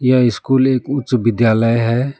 यह स्कूल एक उच्च विद्यालय है।